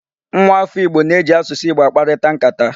Nwaafọ Igbo na-eji asụsụ Igbo akparịta nkata.